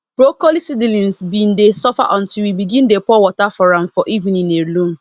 broccoli seedlings been dey suffer until we begin dey pour water for am for evening alone